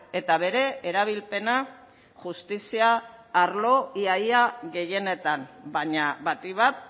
eta bere erabilpena justizia arlo ia ia gehienetan baina batik bat